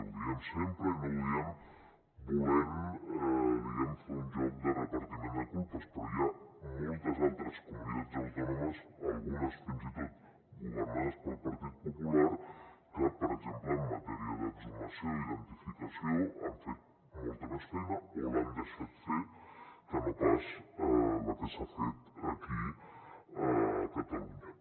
ho diem sempre i no ho diem volent diguem ne fer un joc de repartiment de culpes però hi ha moltes altres comunitats autònomes algunes fins i tot governades pel partit popular que per exemple en matèria d’exhumació i identificació han fet molta més feina o l’han deixat fer que no pas la que s’ha fet aquí a catalunya